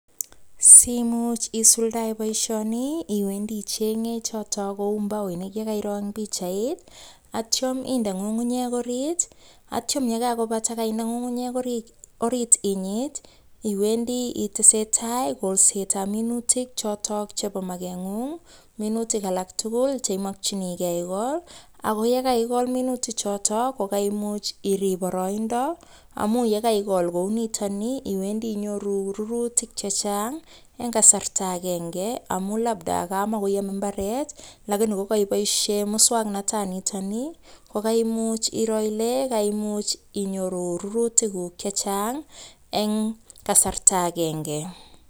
Simuch isuldae boisioni iwendi ichenge choto kou mbaoinik ye kairo eng pichait, atyam inde ngungunyek orit, atyam ye kakobata kainde ngungunyek orit inyit, iwendi itesetai kolsetab minutik chotok chebo makengung, minutik alak tugul che imokchinikei ikol, ako yekaikol minuti chotok ko kaimuch irip boroindo, amu yekaikol kou nitoni, iwendi inyoru rurutik che chang eng kasarta akenge, amu labda kamakoyome mbaret lakini ko kaiboisie muswoknotanitoni, ko kaimuch iro ile kaimuch inyoru rurutikuk che chang eng kasarta akenge.